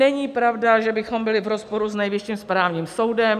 Není pravda, že bychom byli v rozporu s Nejvyšším správním soudem.